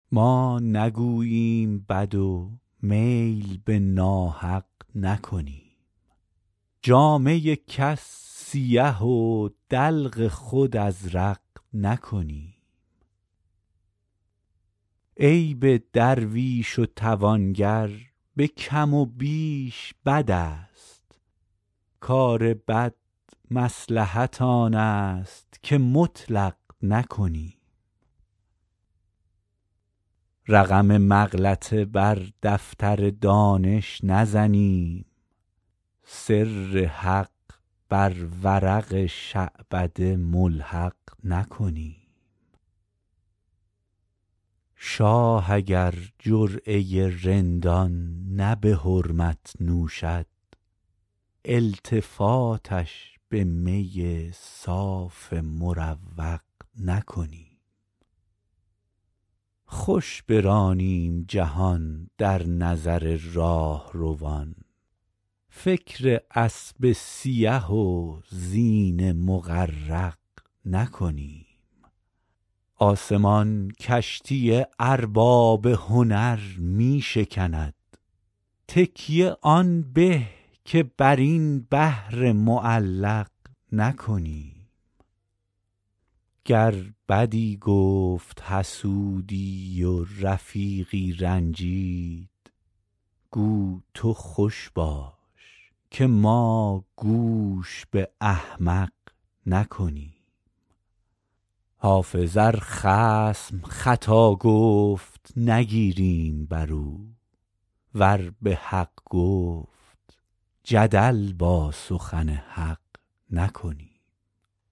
ما نگوییم بد و میل به ناحق نکنیم جامه کس سیه و دلق خود ازرق نکنیم عیب درویش و توانگر به کم و بیش بد است کار بد مصلحت آن است که مطلق نکنیم رقم مغلطه بر دفتر دانش نزنیم سر حق بر ورق شعبده ملحق نکنیم شاه اگر جرعه رندان نه به حرمت نوشد التفاتش به می صاف مروق نکنیم خوش برانیم جهان در نظر راهروان فکر اسب سیه و زین مغرق نکنیم آسمان کشتی ارباب هنر می شکند تکیه آن به که بر این بحر معلق نکنیم گر بدی گفت حسودی و رفیقی رنجید گو تو خوش باش که ما گوش به احمق نکنیم حافظ ار خصم خطا گفت نگیریم بر او ور به حق گفت جدل با سخن حق نکنیم